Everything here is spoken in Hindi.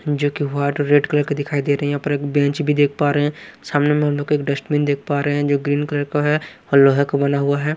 जोकि व्हाईट और रेड कलर के दिखाई दे रहे हैं यहाँ पर एक बेंच भी देख पा रहे हैं सामने में हम लोग एक डस्टबिन देख पा रहे हैं जो ग्रीन कलर का है और लोहे का बना हुआ है।